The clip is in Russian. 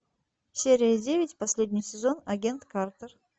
серия девять последний сезон агент картер